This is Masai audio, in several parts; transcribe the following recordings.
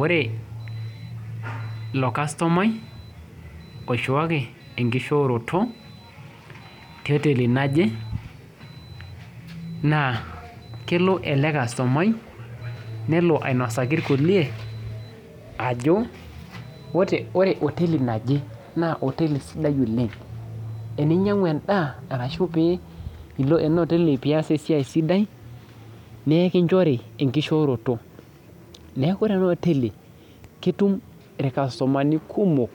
Ore ilo kastomani oishooki enkishooroto teoteli naje ,naa kelo ele kastomani ainosaki irkulie ajo ore oteli naje naa oteli sidai oleng, ore teninyangu endaa orashu ilo ena oteli pee iyas esiai sidai naa ekinchori enkishooroto ,neeku ore ena oteli ketum irkastomani kumok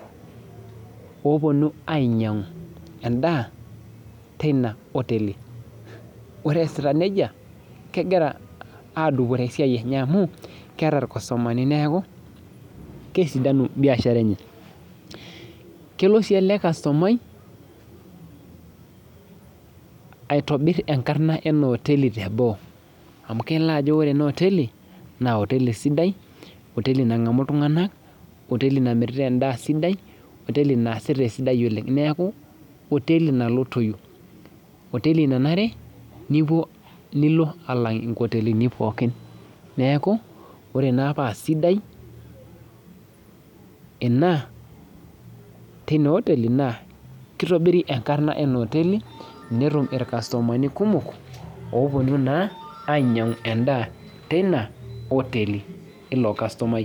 ooponu ainyangu endaa tina oteli ,ore eesita nejia kegira adupore esiai enye amu keeta irkastomani neeku kesidanu biashara enye ,kelo sii ele kastomai aitobir enkarna ena oteli teboo ,amu kejo ore ena oteli, naa oteli sidai, oteli nangamu iltunganak oteli namirita endaa sidai ,oteli naasita esidai neeku oteli nalotoyu ,neeku menare nilo nkotelini pookin ,ore naa paa sidai ina tina oteli naa kitobiri enkarna ina oteli netum irkastomani kumok oopuni ainyangu endaa tina oteli ilo kastomani.